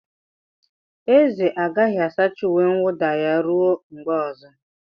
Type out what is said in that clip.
Eze agaghị asacha uwe mwuda ya ruo mgbe ọzọ.